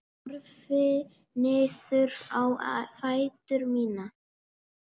Horfi niður á fætur mína.